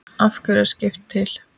Af hverju er skrift til?